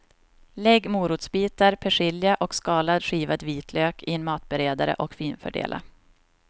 Lägg morotsbitar, persilja och skalad skivad vitlök i en matberedare och finfördela.